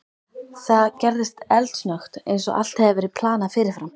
Það gerðist eldsnöggt, eins og allt hefði verið planað fyrirfram.